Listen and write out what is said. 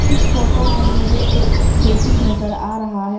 इस फोटो में मुझे एक खेती नजर आ रहा है।